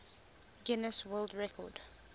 guinness world record